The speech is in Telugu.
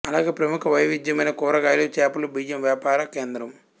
అలాగే ప్రముఖ వైవిధ్యమైన కూరగాయలు చేపలు బియ్యం వ్యాపార కేంద్రం